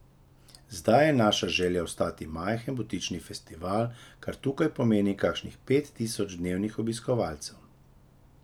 Zdaj je naša želja ostati majhen butični festival, kar tukaj pomeni kakšnih pet tisoč dnevnih obiskovalcev.